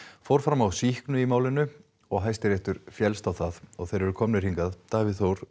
fór fram á sýknu í málinu og Hæstiréttur á það og þeir eru komnir hingað Davíð Þór